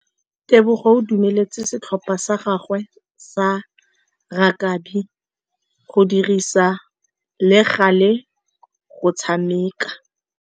Tebogô o dumeletse setlhopha sa gagwe sa rakabi go dirisa le galê go tshameka.